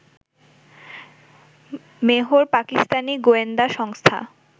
মেহর পাকিস্তানি গোয়েন্দা সংস্থা